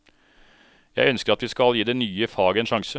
Jeg ønsker at vi skal gi det nye faget en sjanse.